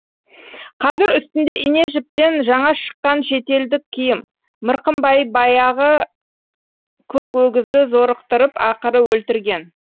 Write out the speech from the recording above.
қазір үстінде ине жіптен жаңа шыққан шетелдік киім мырқымбай баяғы көк өгізді зорықтырып ақыры өлтірген